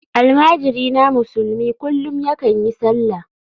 Almajirina musulmi kullum yakan yi sallah.